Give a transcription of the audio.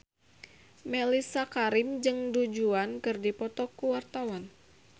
Mellisa Karim jeung Du Juan keur dipoto ku wartawan